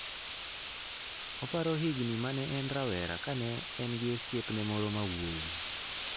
Oparo higini ma ne en rawera kane en gi osiepne moro ma wuowi.